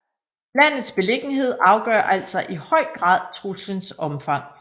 Landets beliggenhed afgør altså i høj grad truslens omfang